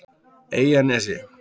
Eyjanesi